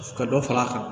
Ka dɔ far'a kan